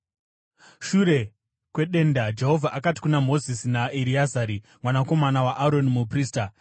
Shure kwedenda Jehovha akati kuna Mozisi naEreazari mwanakomana waAroni, muprista,